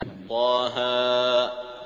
طه